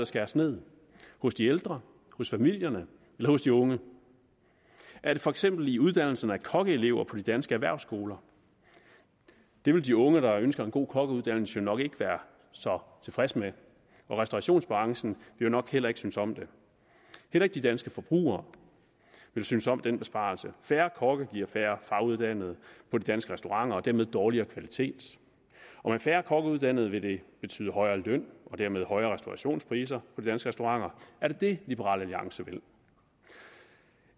skæres ned hos de ældre hos familierne eller hos de unge er det for eksempel i uddannelsen af kokkeelever på de danske erhvervsskoler det vil de unge der ønsker en god kokkeuddannelse jo nok ikke være så tilfredse med og restaurationsbranchen vil nok heller ikke synes om det heller ikke de danske forbrugere vil synes om den besparelse færre kokke giver færre faguddannede på de danske restauranter og dermed dårligere kvalitet og med færre kokkeuddannede vil det betyde højere løn og dermed højere restaurationspriser på de danske restauranter er det det liberal alliance vil